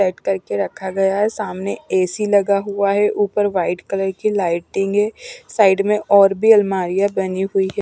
Set करके रखा गया है सामने एसी लगा हुआ है ऊपर व्हाईट कलर की लाइटिंग है साइड में और भी अलमारियाँ बनी हुई हैं।